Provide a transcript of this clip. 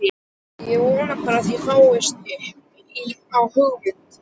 Ég vona bara að það fáist upp á hund!